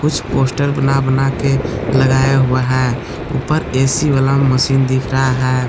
कुछ पोस्टर बना बना के लगाया हुआ है ऊपर ए_सी वाला मशीन दिख रहा है।